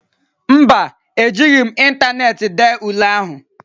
Mba, Ejighị m ịntaneetị dee ule ahụ